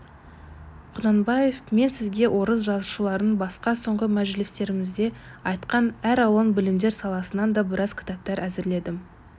құнанбаев мен сізге орыс жазушыларынан басқа соңғы мәжілістерімізде айтқан әр алуан білімдер саласынан да біраз кітаптар әзірледім